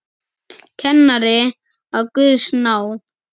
Kennari af Guðs náð.